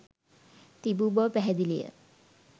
තිබූ බව පැහැදිලිය